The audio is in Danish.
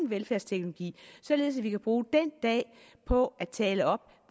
velfærdsteknologi således at vi kan bruge den dag på at tale op